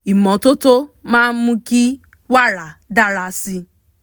ìmọ́tótó máa mú kí wàrà dára sí